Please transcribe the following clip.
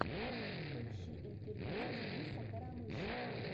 поищи интервью дениса карамышева